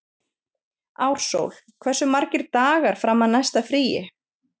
Ársól, hversu margir dagar fram að næsta fríi?